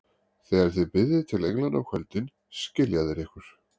Þegar þið biðjið til englanna á kvöldin, skilja þeir ykkur.